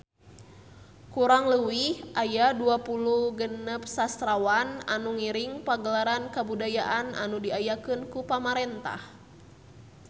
Kurang leuwih aya 26 sastrawan anu ngiring Pagelaran Kabudayaan anu diayakeun ku pamarentah